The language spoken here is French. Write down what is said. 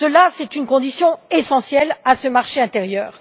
C'est une condition essentielle pour ce marché intérieur.